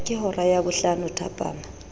ke hora ya bohlano thapama